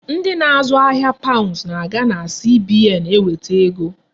Ndị na-azụ ahia paund na-aga na CBN eweta ego.